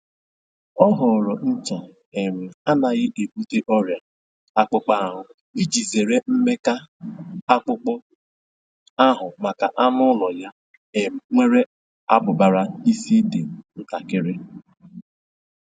Ọ họọrọ ncha um anaghị ebute ọrịa akpụkpọ ahụ iji zere mmeka akpụkpọ ahụ maka anụ ụlọ ya um nwere abụbara isi dị ntakiri